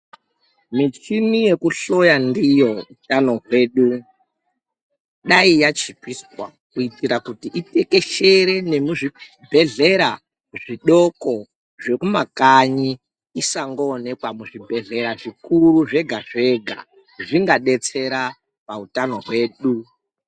Michina yekuhloya ndiyo utano hwedu dai yachipiswa kuitira kuti itekeshere nemuzvibhedhlera zvidoko zvekumakanyi isangoonekwa muzvibhedhlera zvikuru zvega zvega zvingabetsera pahutano hwedu .